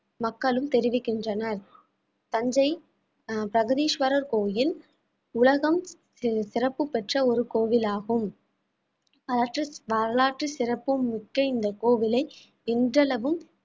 மக்களும் தெரிவிக்கின்றனர் தஞ்சை பிரகதீஸ்வரர் கோயில் உலகம் சிற~ சிறப்பு பெற்ற ஒரு கோவிலாகும் வரலாற்று சிறப்புமிக்க இந்த கோவிலை இன்றளவும்